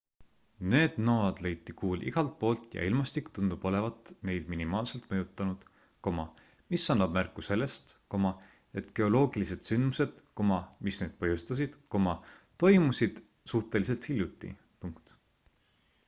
need nõod leiti kuul igalt poolt ja ilmastik tundub olevat neid minimaalselt mõjutanud mis annab märku sellest et geoloogilised sündmused mis neid põhjustasid toimusid suhteliselt hiljuti